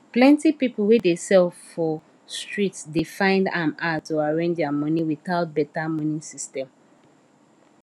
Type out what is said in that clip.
plenty people wey dey sell for street dey find am hard to arrange their money without better money system